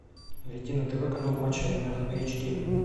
найти на тв канал матч арена эйч ди